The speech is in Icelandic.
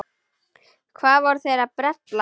Hvað voru þeir að bralla?